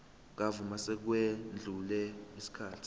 kamuva sekwedlule isikhathi